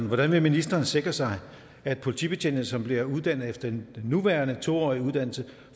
hvordan vil ministeren sikre sig at politibetjente som bliver uddannet efter den nuværende to årige uddannelse